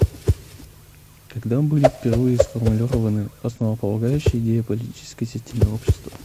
когда были впервые сформулированы основополагающие идеи о политической системе общества